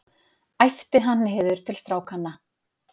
æpti hann niður til strákanna.